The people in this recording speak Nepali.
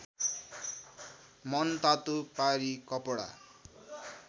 मनतातो पारी कपडा